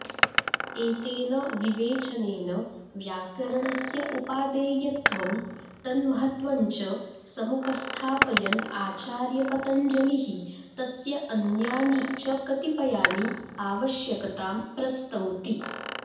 एतेन विवेचनेन व्याकरणस्य उपादेयत्वं तन्महत्त्वञ्च समुपस्थापयन् आचार्यपतञ्जलिः तस्य अन्यानि च कतिपयानि आवश्यकतां प्रस्तौति